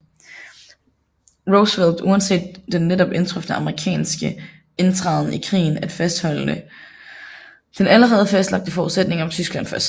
Roosevelt uanset den netop indtrufne amerikanske indtræden i krigen at fastholde den allerede fastlagte forudsætning om Tyskland først